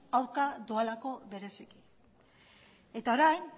aurka doalako bereziki eta orain